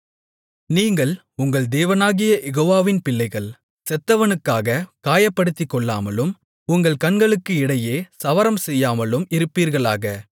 நீங்கள் உங்கள் தேவனாகிய யெகோவாவின் பிள்ளைகள் செத்தவனுக்காகக் காயப்படுத்திக்கொள்ளாமலும் உங்கள் கண்களுக்கு இடையிலே சவரம்செய்யாமலும் இருப்பீர்களாக